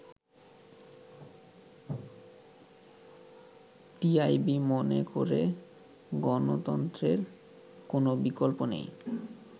“TIB মনে করে গণতন্ত্রের কোন বিকল্প নেই।